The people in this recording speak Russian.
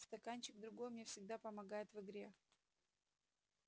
стаканчик другой мне всегда помогает в игре